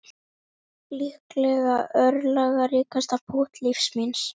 Líklega örlagaríkasta pútt lífs míns